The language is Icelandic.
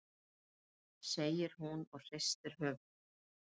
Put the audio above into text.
segir hún og hristir höfuðið.